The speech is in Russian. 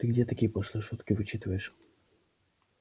ты где такие пошлые шутки вычитываешь